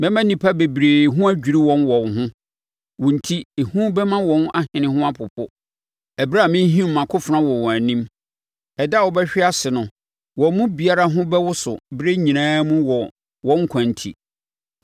Mɛma nnipa bebree ho adwiri wɔn wɔ wo ho, wo enti, ehu bɛma wɔn ahene ho apopo ɛberɛ a merehim mʼakofena wɔ wɔn anim. Ɛda a wobɛhwe ase no wɔn mu biara ho bɛwoso berɛ nyinaa mu wɔ wɔn nkwa enti.